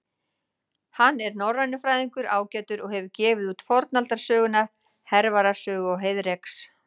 Hann er norrænufræðingur ágætur og hefur gefið út fornaldarsöguna Hervarar sögu og Heiðreks.